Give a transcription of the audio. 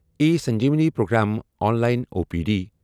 E Sanjeevani program online O P D